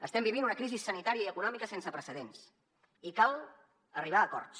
estem vivint una crisi sanitària i econòmica sense precedents i cal arribar a acords